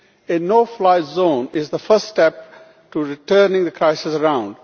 A no fly zone is the first step to turning the crisis around.